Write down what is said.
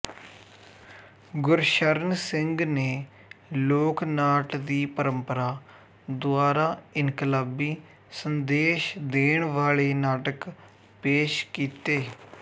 ਗੁਰਸ਼ਰਨ ਸਿੰਘ ਨੇ ਲੋਕ ਨਾਟ ਦੀ ਪਰੰਪਰਾ ਦੁਆਰਾ ਇਨਕਲਾਬੀ ਸੰਦੇਸ਼ ਦੇਣ ਵਾਲੇ ਨਾਟਕ ਪੇਸ਼ ਕੀਤੇ